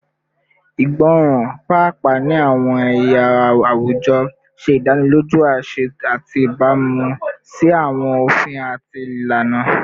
Igbọran, paapaa ni awọn ẹya awujọ, ṣe idaniloju aṣẹ ati ibamu si awọn ofin ati ilana